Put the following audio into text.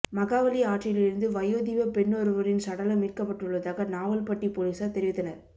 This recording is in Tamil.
மகாவலி ஆற்றிலிருந்து வயோதிப பெண்ணொருவரின் சடலம் மீட்கப்பட்டுள்ளதாக நாவலப்பிட்டி பொலிஸார் தெரிவித்தனர்